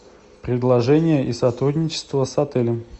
предложения и сотрудничество с отелем